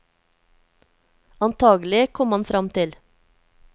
Antakelig, kom han fram til.